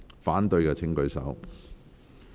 反對的請舉手。